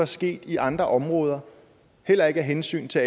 sket i andre områder heller ikke af hensyn til